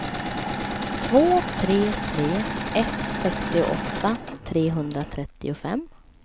två tre tre ett sextioåtta trehundratrettiofem